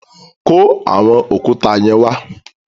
Kó àwọn òkúta yẹn wa.